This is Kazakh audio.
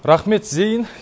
рахмет зейін